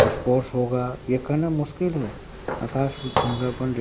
spores होगा ये कहना मुश्किल है आकाश में धुंधलापन दि--